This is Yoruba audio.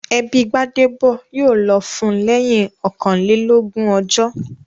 Ẹbí Gbádébọ̀ yóò lọ fún lẹ́yìn ọkànlélógún ọjọ́